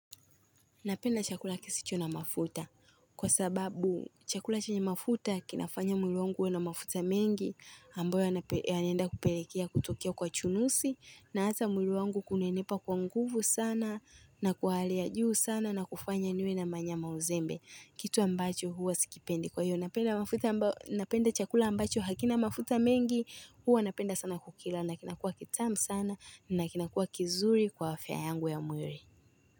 Napenda chakula kisicho na mafuta kwa sababu chakula chenye mafuta kinafanya mwili wangu uwe na mafuta mengi ambayo yanaenda kupelekea kutokea kwa chunusi na hata mwili wangu kunenepa kwa nguvu sana na kwa hali ya juu sana na kufanya niwe na manyama uzembe kitu ambacho huwa sikipendi. Kwa hiyo napenda chakula ambacho hakina mafuta mengi huwa napenda sana kukila na kinakua kitamu sana na kinakua kizuri kwa afya yangu ya mwili.